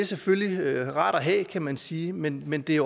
selvfølgelig rare at have kan man sige men men det